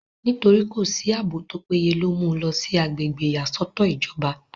nítorí kò sí àbò tó péye ló mú u lọ sí agbègbè ìyàsọ́tọ̀ ìjọba